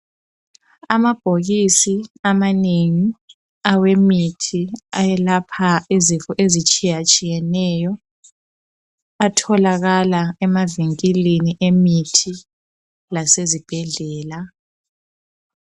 Amabhokisi amanengi awemithi ayelapha izifo ezitshiya tshiyeneyo atholakala emavinkilini amemithi lasezibhedlela.